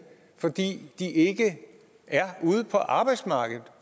fordi de ikke er ude på arbejdsmarkedet